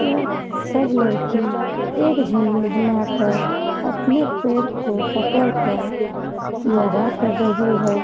यह सब लड़की एक झुण्ड बना कर अपने पैर को पकड़ कर योगा कर रही है ।